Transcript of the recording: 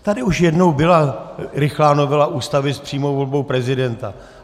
Tady už jednou byla rychlá novela Ústavy s přímou volbou prezidenta.